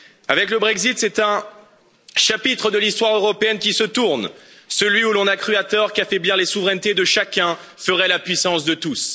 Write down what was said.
Avec le Brexit, c'est un chapitre de l'histoire européenne qui se tourne, celui où l'on a cru, à tort, qu'affaiblir les souverainetés de chacun ferait la puissance de tous.